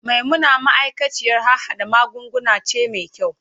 Maimuna ma'aikaciyar harhada magunguna ce mai kyau.